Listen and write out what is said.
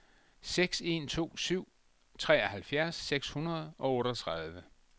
seks en to syv treoghalvfjerds seks hundrede og otteogtredive